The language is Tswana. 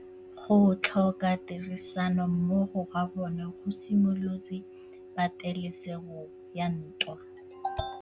Go tlhoka tirsanommogo ga bone go simolotse patêlêsêgô ya ntwa.